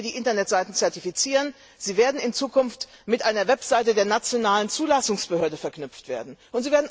Deshalb müssen wir die Internetseiten zertifizieren, sie werden in Zukunft mit einer Webseite der nationalen Zulassungsbehörde verknüpft